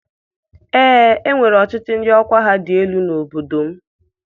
Ee, e nwere ọchịchị ndị ọkwa ha dị elu n'obodo m.